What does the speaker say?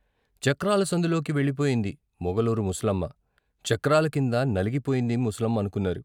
చక్రాల సందులోకి వెళ్ళిపోయింది మొగలూరు ముసలమ్మ, చక్రాల కింద నలిగిపోయింది ముసలమ్మనుకున్నారు.